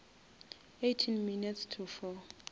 eighteen minutes to four